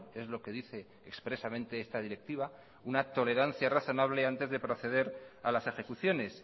es lo que dice expresamente esta directiva una tolerancia razonable antes de proceder a las ejecuciones